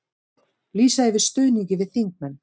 Lýsa yfir stuðningi við þingmenn